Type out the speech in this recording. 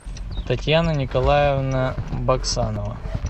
татьяна николаевна баксанова